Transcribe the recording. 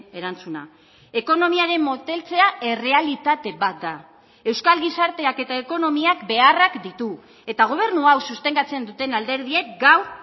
erantzuna ekonomiaren moteltzea errealitate bat da euskal gizarteak eta ekonomiak beharrak ditu eta gobernu hau sostengatzen duten alderdiek gaur